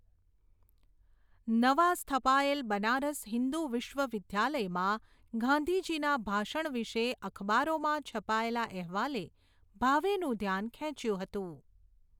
નવા સ્થપાયેલ બનારસ હિંદુ વિશ્વવિદ્યાલયમાં ગાંધીજીના ભાષણ વિશે અખબારોમાં છપાયેલા અહેવાલે ભાવેનું ધ્યાન ખેંચ્યું હતું.